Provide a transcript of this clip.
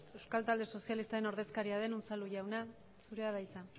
euskal talde sozialista ordezkaria den unzalu jauna zurea da hitza